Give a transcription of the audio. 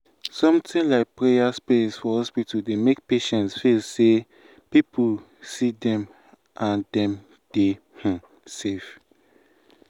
something like prayer space for hospital dey make patients feel say people see them and dem dey um safe.